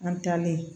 An taalen